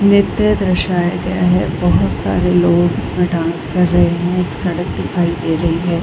नृत्य दर्शया गया है बहुत सारे लोग इसमें डांस कर रहे हैं एक सड़क दिखाई दे रही है।